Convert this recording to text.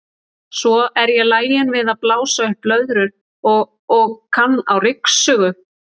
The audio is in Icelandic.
Svo er ég lagin við að blása upp blöðrur og og kann á ryksugu.